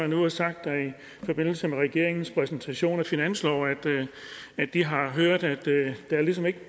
nu og sagt i forbindelse med regeringens præsentationen af finanslov at de har hørt at der ligesom ikke